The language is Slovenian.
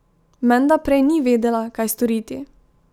Menda prej ni vedela, kaj storiti.